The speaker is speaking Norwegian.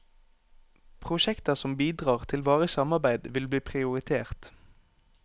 Prosjekter som bidrar til varig samarbeid, vil bli prioritert.